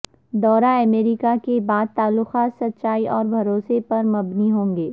دورہ امریکا کے بعد تعلقات سچائی اور بھروسے پر مبنی ہوں گے